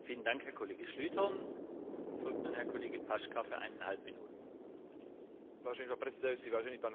Boj s po stáročia vytváranými zvykmi je v každej spoločnosti zložitý a zdĺhavý.